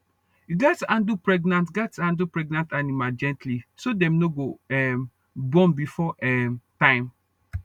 you gatz handle pregnant gatz handle pregnant animal gently so dem no go um born before um time